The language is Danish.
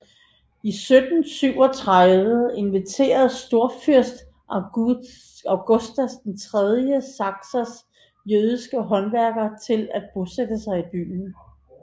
I 1737 inviterede storfyrste Augustas III Saksas jødiske håndværkere til at bosætte sig i byen